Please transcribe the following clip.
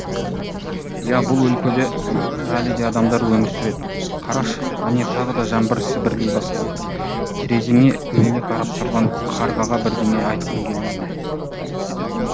иә бұл өлкеде әлі де адамдар өмір сұреді қарашы әне тағы да жаңбыр сіберлей бастады терезеңе үңіле қарап тұрған қарғаға бірдеңе айтқың келмей ме